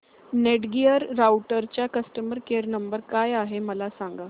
Netgear राउटरचा customer care number काय आहे मला सांग